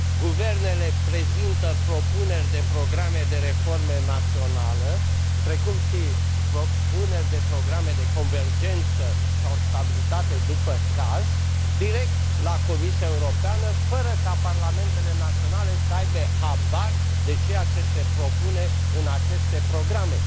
Guvernele prezintă propuneri de programe de reformă națională, precum și propuneri de programe de convergență sau stabilitate, după caz, direct la Comisia Europeană fără ca parlamentele naționale să aibă habar de ceea ce se propune în aceste programe.